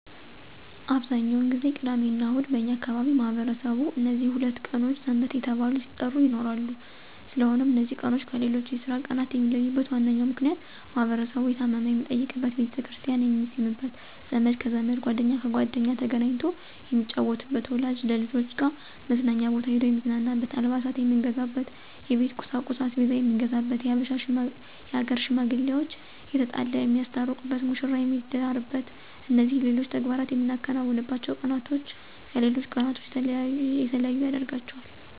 አብዛኛውን ጊዜ ቅዳሚና እሁድ በእኛ አካባቢ ማህበረሰቡ እነዚህ ሁለት ቀኖች ሰንበት እየተባሉ ሲጠሩ ይኖራሉ ስለሆነም እነዚ ቀናቶች ከሌሎች የስራ ቀናት የሚለዩበት ዋናው ምክንያት ማህበረሰቡ የታመመ የሚጠይቅበት፣ ቤተክርስቲያን የሚስምበት፣ ዘመድ ከዘመድ ጓደኛ ከጓደኛ ተገናኝቶ የሚጫወትበት፣ ወላጅ ከልጆች ጋር መዝናኛ ቦታ ሂዶ የሚዝናናበት፣ አልባሳት የምንገዛበት፣ የቤት ቁሳቁስ(አስቤዛ የምንገዛበት)የሀገር ሽማግሌዋች የተጣላ የሚያስታርቁበት፣ መሽራ የሚዳርበት እነዚህና ሌሎች ተግባራት የምናከናውንባቸው ቀናቶች ከሌሎች ቀናቶች የተለዩ ያደርጋቸዋል።